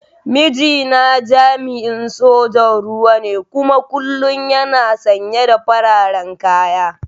Mijina jami'in sojan ruwa ne kuma kullum yana sanye da fararen kaya.